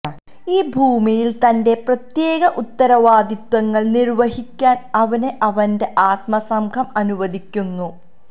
ഈ ഭൂമിയിൽ തന്റെ പ്രത്യേക ഉത്തരവാദിത്വങ്ങൾ നിർവ്വഹിക്കാൻ അവനെ അവന്റെ ആത്മസംഘം അനുവദിക്കുന്നു